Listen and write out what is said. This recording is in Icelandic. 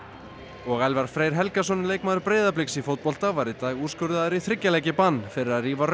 og Elfar Freyr Helgason leikmaður Breiðabliks í fótbolta var í dag úrskurðaður í þriggja leikja bann fyrir að rífa rauða